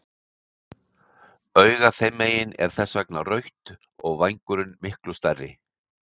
Augað þeim megin er þess vegna rautt og vængurinn miklu stærri.